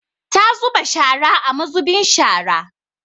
Ta zuba shara a muzubin shara.